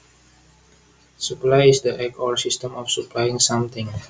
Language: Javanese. Supply is the act or system of supplying something